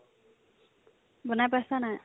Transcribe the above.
বনাই পাইছানে নাই ?